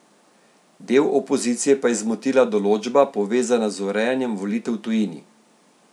Del opozicije pa je zmotila določba, povezana z urejanjem volitev v tujini.